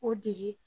O degi